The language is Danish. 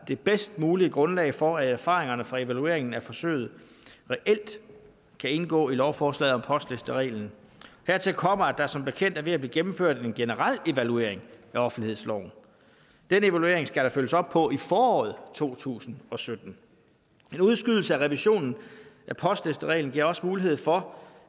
det bedst mulige grundlag for at erfaringerne fra evalueringen af forsøget reelt kan indgå i lovforslaget om postlistereglen hertil kommer at der som bekendt er ved at blive gennemført en generel evaluering af offentlighedsloven den evaluering skal der følges op på i foråret to tusind og sytten en udskydelse af revisionen af postlistereglen giver også mulighed for